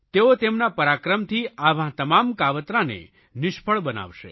તેઓ તેમના પરાક્રમથી આવા તમામ કાવતરાને નિષ્ફળ બનાવશે